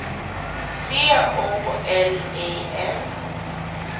C O L I N